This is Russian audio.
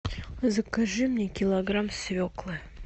закажи мне килограмм свеклы